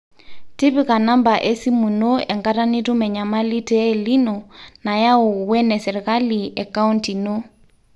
tipika namba esimu ino enkata nitum enyamali te El nino nayau o ene serikali e county ino